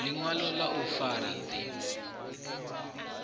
ḽiṅwalo ḽa u fara ḓi